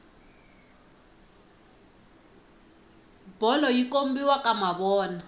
bolo yi kombiwa ka mavona